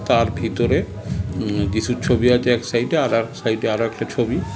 তার ভেতরে উম যীশুর ছবি আছে এক সাইডে আর এক সাইডে আর একটা ছবি